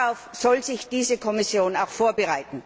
Darauf soll sich diese Kommission auch vorbereiten.